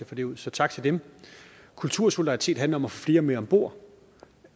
få det ud så tak til dem kultursolidaritet handler om at få flere med om bord